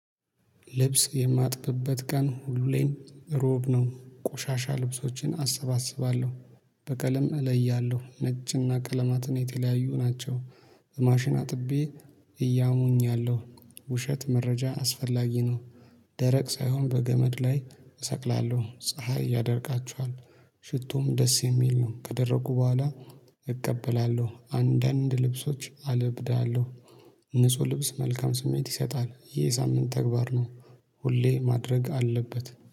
ልብስ የማጥብበት ቀን ሁሉም ላይ እሮብ ነው ቆሻሻ ልብሶችን አሰባስባለሁ። በቀለም እለያለሁ ነጭና ቀለማትን የተለያዩ ናቸው። ማሽን አጥቤ እያሙኛለሁ። ውሸት መረጃ አስፈላጊ ነው። ደረቅ ሳይሆን በገመድ ላይ እሰቅላለሁ ፀሀይ ያደርቃቸዋል። ሽቶም ደስ የሚል ነው። ከደረቁ በኋላ እቀበላለሁ አንዳንድ ልብሶች አለብዳለሁ። ንጹህ ልብስ መልካም ስሜት ይሰጣል ይሄ ሳምንት ተግባር ነው። ሁሌ ማድረግ አለበት